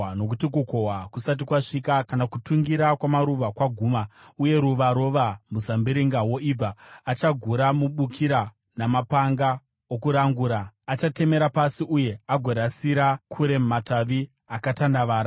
Nokuti, kukohwa kusati kwasvika, kana kutungira kwamaruva kwaguma, uye ruva rova muzambiringa woibva, achagura mabukira namapanga okurangura, achatemera pasi uye agorasira kure matavi akatandavara.